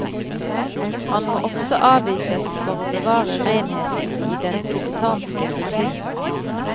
Han må også avvises for å bevare renheten i den tibetanske buddhisme.